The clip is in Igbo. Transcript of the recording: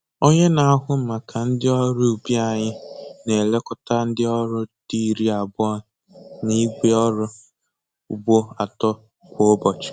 Onye na-ahụ maka ndị ọrụ ubi anyị na-elekọta ndị ọrụ di iri abụọ na igwe ọrụ ugbo atọ kwa ụbọchị.